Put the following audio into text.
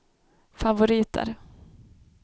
favoriter